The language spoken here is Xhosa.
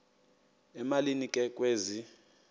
emalini ke kwezi